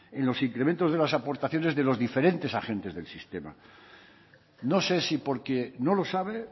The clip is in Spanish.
en los incrementos de las aportaciones de los diferentes agentes del sistema no sé si porque no lo sabe